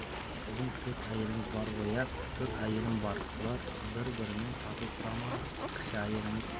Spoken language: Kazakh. сіздің төрт әйелеңіз бар ғой иә төрт әйелім бар олар бір-бірімен тату тұра ма кіші әйеліңіз